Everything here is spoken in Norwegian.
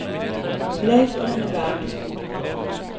Leif Rønneberg